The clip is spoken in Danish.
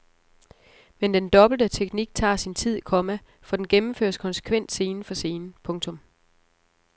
Men den dobbelte teknik tager sin tid, komma for den gennemføres konsekvent scene for scene. punktum